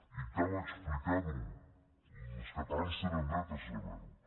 i cal explicar ho els catalans tenen dret a saber ho